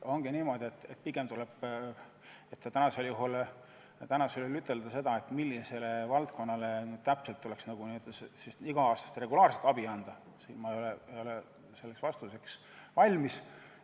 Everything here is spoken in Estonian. Ongi niimoodi, et selleks, et ütelda, millisele valdkonnale täpselt tuleks iga-aastast regulaarset abi anda, ma ei ole valmis.